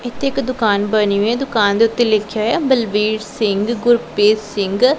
ਇੱਥੇ ਇੱਕ ਦੁਕਾਨ ਬਨੀ ਹੋਈ ਐ ਦੁਕਾਨ ਦੇ ਓੱਤੇ ਲਿੱਖਿਆ ਹੋਇਆ ਐ ਬਲਵੀਰ ਸਿੰਘ ਗੁਰਪ੍ਰੀਤ ਸਿੰਘ--